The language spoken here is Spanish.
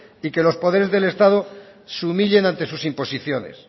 y que los poderes del estado se humillen ante sus imposiciones